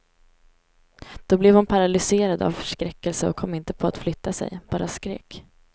Då blev hon paralyserad av förskräckelse och kom inte på att flytta sig, bara skrek.